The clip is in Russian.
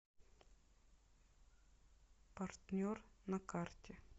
партнер на карте